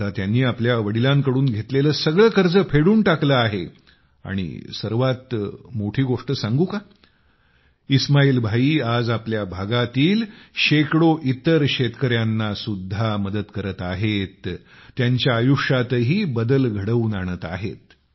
आता त्यांनी आपल्या वडिलांकडून घेतलेले सगळे कर्ज फेडून टाकले आहे आणि सर्वात मोठी गोष्ट सांगू काइस्माईल भाई आज आपल्या भागातील शेकडो इतर शेतकर्यांची मदत करत आहेत त्यांच्या आयुष्यातही बदल घडवून आणत आहेत